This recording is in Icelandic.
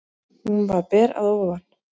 Hún var ber að ofan.